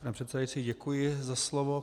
Pane předsedající, děkuji za slovo.